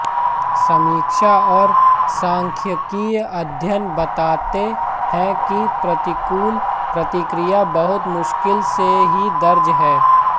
समीक्षा और सांख्यिकीय अध्ययन बताते हैं कि प्रतिकूल प्रतिक्रिया बहुत मुश्किल से ही दर्ज हैं